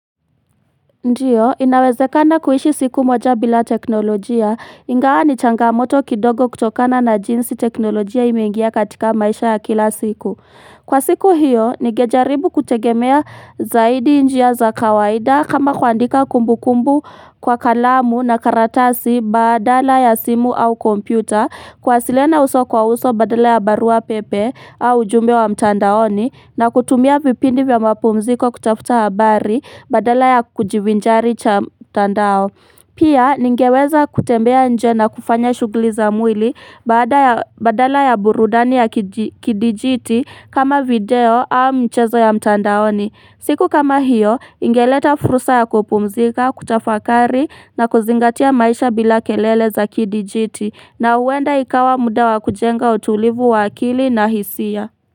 Ndiyo, inawezekana kuishi siku moja bila teknolojia, ingawa ni changamoto kidogo kutokana na jinsi teknolojia imengia katika maisha ya kila siku. Kwa siku hiyo, nigejaribu kutegemea zaidi njia za kawaida kama kuandika kumbu kumbu kwa kalamu na karatasi badala ya simu au kompyuta kuwasiliana uso kwa uso badala ya barua pepe au ujumbe wa mtandaoni na kutumia vipindi vya mapumziko kutafuta habari badala ya kujivinjari cha mtandao. Pia, ningeweza kutembea nje na kufanya shughuli za mwili baada ya badala ya burudani ya kidijiti kama video au mchezo ya mtandaoni. Siku kama hiyo, ingeleta fursa ya kupumzika, kutafakari na kuzingatia maisha bila kelele za kidijiti na huenda ikawa muda wa kujenga utulivu wa akili na hisia.